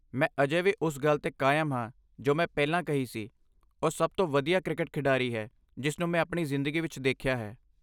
ਮੈਂ ਅਜੇ ਵੀ ਉਸ ਗੱਲ 'ਤੇ ਕਾਇਮ ਹਾਂ ਜੋ ਮੈਂ ਪਹਿਲਾਂ ਕਹੀ ਸੀ, ਉਹ ਸਭ ਤੋਂ ਵਧੀਆ ਕ੍ਰਿਕਟ ਖਿਡਾਰੀ ਹੈ ਜਿਸ ਨੂੰ ਮੈਂ ਆਪਣੀ ਜ਼ਿੰਦਗੀ ਵਿਚ ਦੇਖਿਆ ਹੈ।